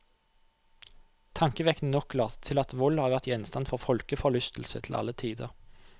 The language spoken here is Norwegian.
Tankevekkende nok later det til at vold har vært gjenstand for folkeforlystelse til alle tider.